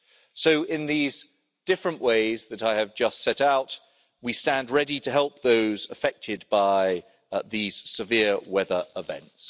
So in these different ways that I have just set out, we stand ready to help those affected by these severe weather events.